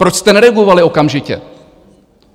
Proč jste neregulovali okamžitě?